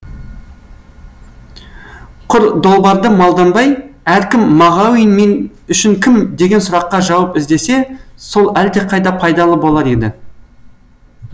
құр долбарды малданбай әркім мағауин мен үшін кім деген сұраққа жауап іздесе сол әлдеқайда пайдалы болар еді